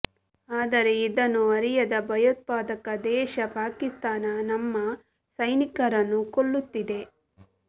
ಆದರೆ ಇದನ್ನು ಅರಿಯದ ಭಯೋತ್ಪಾದಕ ದೇಶ ಪಾಕಿಸ್ತಾನ ನಮ್ಮ ಸೈನಿಕರನ್ನು ಕೊಲ್ಲುತ್ತಿದೆ